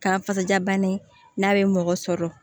K'a ka kasajabana n'a be mɔgɔ sɔrɔ